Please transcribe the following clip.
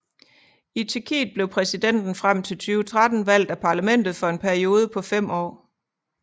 I Tjekkiet blev præsidenten frem til 2013 valgt af parlamentet for en periode på fem år